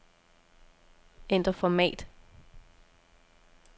Ændr format.